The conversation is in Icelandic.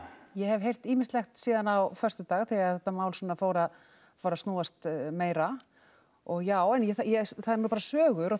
ég hef heyrt ýmislegt síðan á föstudag þegar þetta mál svona fór að fór að snúast meira og já en ég það eru nú bara sögur og